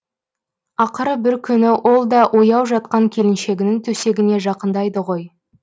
ақыры бір күні ол да ояу жатқан келіншегінің төсегіне жақындайды ғой